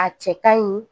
A cɛ ka ɲi